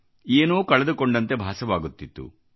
ಏನೋ ಕಳೆದುಕೊಂಡಂತೆ ಭಾಸವಾಗುತ್ತಿತ್ತು